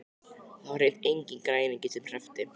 Og það var hreint enginn græningi sem hreppti.